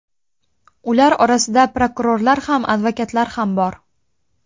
Ular orasida prokurorlar ham, advokatlar ham bor.